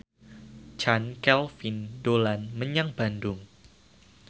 Chand Kelvin dolan menyang Bandung